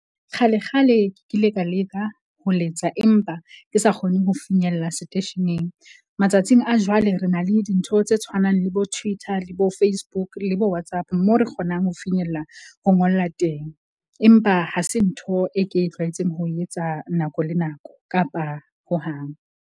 Kgale kgale ke ile ka leka ho letsa empa ke sa kgone ho finyella seteisheneng. Matsatsing a jwale, re na le dintho tse tshwanang le bo Twitter le bo Facebook le bo WhatsApp, moo re kgonang ho finyella ho ngolla teng. Empa ha se ntho e ke tlwaetseng ho e etsa nako le nako kapa hohang.